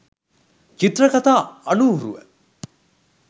චිත්‍රකතා අනුහුරුව